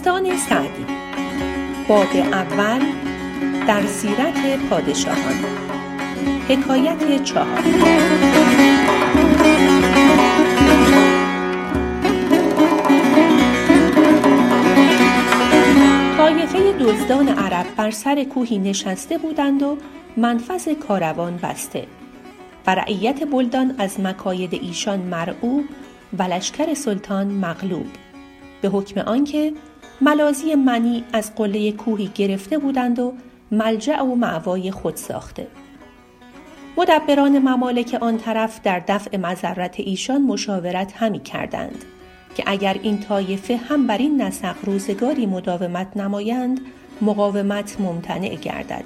طایفه دزدان عرب بر سر کوهی نشسته بودند و منفذ کاروان بسته و رعیت بلدان از مکاید ایشان مرعوب و لشکر سلطان مغلوب به حکم آنکه ملاذی منیع از قله کوهی گرفته بودند و ملجأ و مأوای خود ساخته مدبران ممالک آن طرف در دفع مضرت ایشان مشاورت همی کردند که اگر این طایفه هم برین نسق روزگاری مداومت نمایند مقاومت ممتنع گردد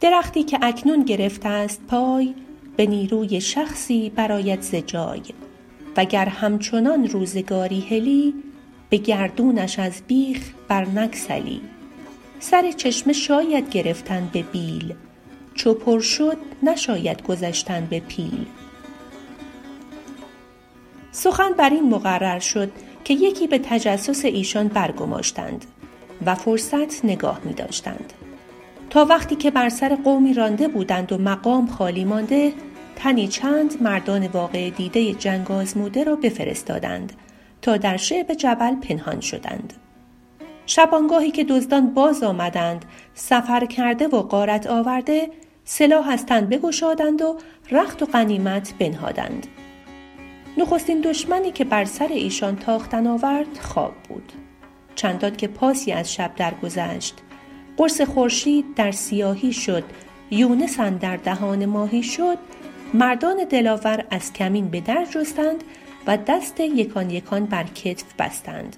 درختی که اکنون گرفته ست پای به نیروی شخصی برآید ز جای و گر همچنان روزگاری هلی به گردونش از بیخ بر نگسلی سر چشمه شاید گرفتن به بیل چو پر شد نشاید گذشتن به پیل سخن بر این مقرر شد که یکی به تجسس ایشان برگماشتند و فرصت نگاه می داشتند تا وقتی که بر سر قومی رانده بودند و مقام خالی مانده تنی چند مردان واقعه دیده جنگ آزموده را بفرستادند تا در شعب جبل پنهان شدند شبانگاهی که دزدان باز آمدند سفرکرده و غارت آورده سلاح از تن بگشادند و رخت و غنیمت بنهادند نخستین دشمنی که بر سر ایشان تاختن آورد خواب بود چندان که پاسی از شب در گذشت قرص خورشید در سیاهی شد یونس اندر دهان ماهی شد مردان دلاور از کمین به در جستند و دست یکان یکان بر کتف بستند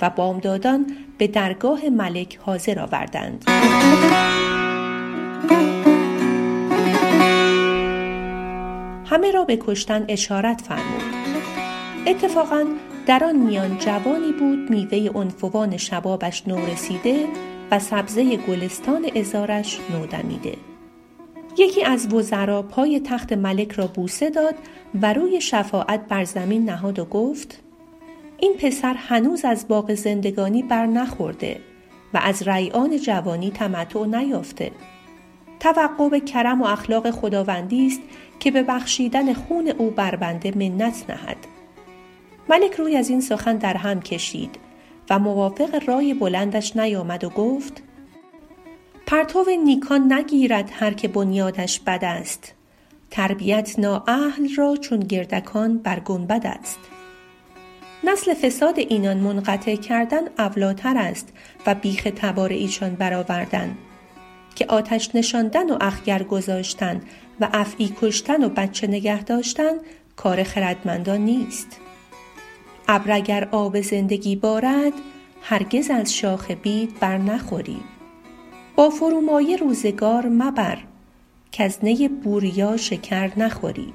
و بامدادان به درگاه ملک حاضر آوردند همه را به کشتن اشارت فرمود اتفاقا در آن میان جوانی بود میوه عنفوان شبابش نورسیده و سبزه گلستان عذارش نودمیده یکی از وزرا پای تخت ملک را بوسه داد و روی شفاعت بر زمین نهاد و گفت این پسر هنوز از باغ زندگانی بر نخورده و از ریعان جوانی تمتع نیافته توقع به کرم و اخلاق خداوندی ست که به بخشیدن خون او بر بنده منت نهد ملک روی از این سخن در هم کشید و موافق رای بلندش نیامد و گفت پرتو نیکان نگیرد هر که بنیادش بد است تربیت نااهل را چون گردکان بر گنبد است نسل فساد اینان منقطع کردن اولی تر است و بیخ تبار ایشان بر آوردن که آتش نشاندن و اخگر گذاشتن و افعی کشتن و بچه نگه داشتن کار خردمندان نیست ابر اگر آب زندگی بارد هرگز از شاخ بید بر نخوری با فرومایه روزگار مبر کز نی بوریا شکر نخوری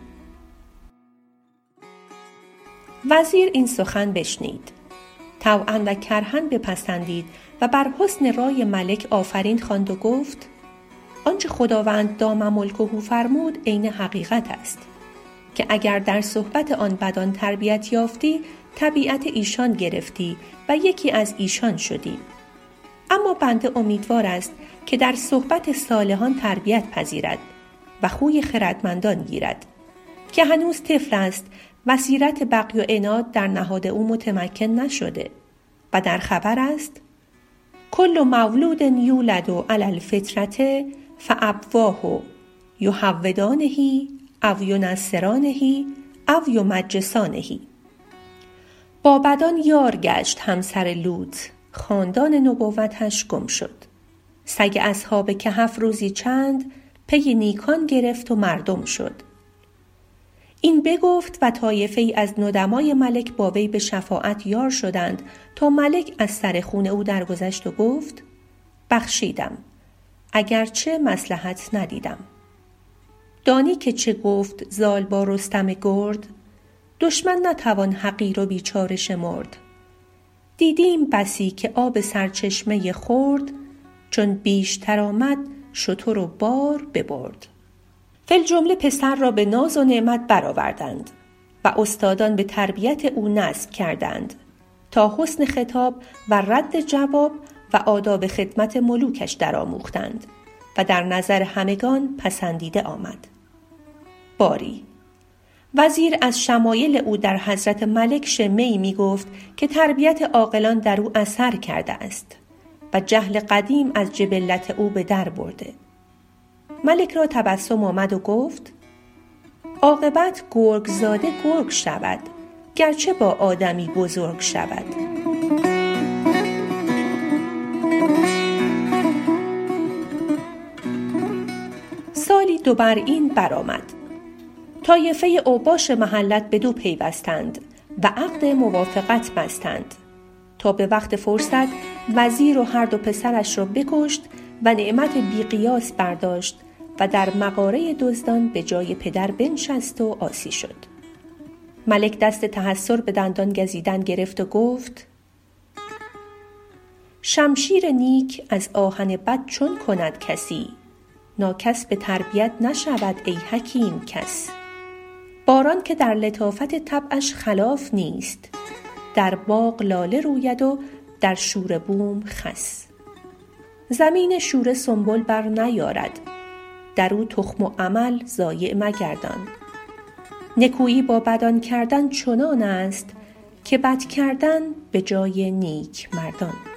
وزیر این سخن بشنید طوعا و کرها بپسندید و بر حسن رای ملک آفرین خواند و گفت آنچه خداوند دام ملکه فرمود عین حقیقت است که اگر در صحبت آن بدان تربیت یافتی طبیعت ایشان گرفتی و یکی از ایشان شدی اما بنده امیدوار است که در صحبت صالحان تربیت پذیرد و خوی خردمندان گیرد که هنوز طفل است و سیرت بغی و عناد در نهاد او متمکن نشده و در خبر است کل مولود یولد علی الفطرة فأبواه یهودانه و ینصرانه و یمجسانه با بدان یار گشت همسر لوط خاندان نبوتش گم شد سگ اصحاب کهف روزی چند پی نیکان گرفت و مردم شد این بگفت و طایفه ای از ندمای ملک با وی به شفاعت یار شدند تا ملک از سر خون او درگذشت و گفت بخشیدم اگرچه مصلحت ندیدم دانی که چه گفت زال با رستم گرد دشمن نتوان حقیر و بیچاره شمرد دیدیم بسی که آب سرچشمه خرد چون بیشتر آمد شتر و بار ببرد فی الجمله پسر را به ناز و نعمت بر آوردند و استادان به تربیت او نصب کردند تا حسن خطاب و رد جواب و آداب خدمت ملوکش در آموختند و در نظر همگنان پسندیده آمد باری وزیر از شمایل او در حضرت ملک شمه ای می گفت که تربیت عاقلان در او اثر کرده است و جهل قدیم از جبلت او به در برده ملک را تبسم آمد و گفت عاقبت گرگ زاده گرگ شود گرچه با آدمی بزرگ شود سالی دو بر این بر آمد طایفه اوباش محلت بدو پیوستند و عقد موافقت بستند تا به وقت فرصت وزیر و هر دو پسرش را بکشت و نعمت بی قیاس برداشت و در مغاره دزدان به جای پدر بنشست و عاصی شد ملک دست تحیر به دندان گزیدن گرفت و گفت شمشیر نیک از آهن بد چون کند کسی ناکس به تربیت نشود ای حکیم کس باران که در لطافت طبعش خلاف نیست در باغ لاله روید و در شوره بوم خس زمین شوره سنبل بر نیارد در او تخم و عمل ضایع مگردان نکویی با بدان کردن چنان است که بد کردن به جای نیک مردان